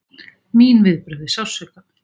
Mín viðbrögð við sársauka!